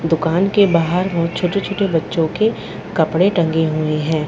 दुकान के बाहर बहुत छोटे-छोटे बच्चों के कपड़े टंगे हुए हैं।